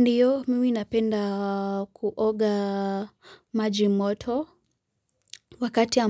Ndio mimi napenda kuoga maji moto. Wakati